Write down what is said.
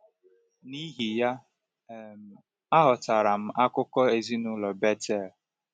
N’ihi ya, um aghọtara m akụkụ ezinụlọ Bethel.